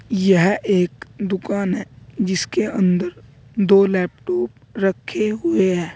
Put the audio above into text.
यह एक दुकान है जिसके अंदर दो लैपटॉप रखे हुए हैं।